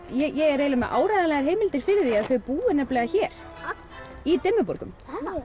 ég er með áreiðanlegar heimildir fyrir því að þau búi hér ha í Dimmuborgum